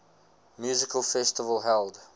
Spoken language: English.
music festival held